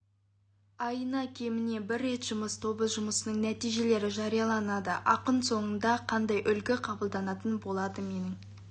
айына кемінде бір рет жұмыс тобы жұмысының нәтижелері жарияланады ақыр соңында қандай үлгі қабылданатын болады менің